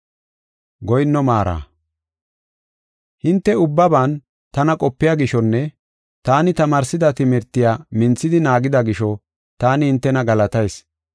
Hinte ubbaban tana qopiya gishonne taani tamaarsida timirtiya minthidi naagida gisho taani hintena galatayis.